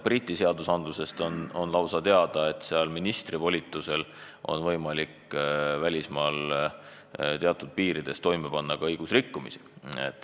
Briti seadusest näiteks on teada, et ministri volitusel on võimalik välismaal teatud piirides toime panna ka õigusrikkumisi.